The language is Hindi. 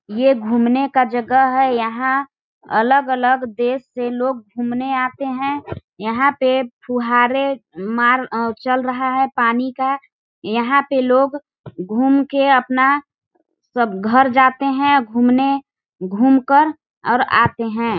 ये घूमने का जगह है यहाँ अलग-अलग देश से लोग घूमने आते है यहाँ पे फुहारे मार अ चल रहा है पानी का यहाँ पे लोग घूम के अपना सब घर जाते है घूमने घूम कर और आते हैं।